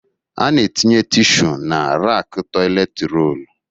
Ana etinye tịshu na raku toịlet roolu